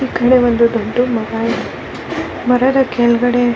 ಈಕಡೆ ಒಂದು ದೊಡ್ಡ್ ಮರ ಇದೆ ಮರದ ಕೆಳಗಡೆ --